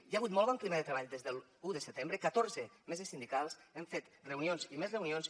hi ha hagut molt bon clima de treball des de l’un de setembre catorze meses sindicals hem fet reunions i més reunions